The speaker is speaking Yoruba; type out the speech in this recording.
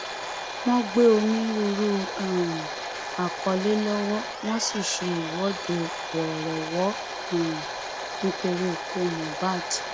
wọn gbé onírúurú um àkọlé lọwọ wọn sì ṣe ìwọde wọọrọwọ um nítorí ikú mohbad